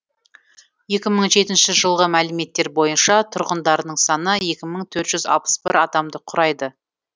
екі мың жетінші жылғы мәліметтер бойынша тұрғындарының саны екі мың төрт жүз алпыс бір адамды құрайды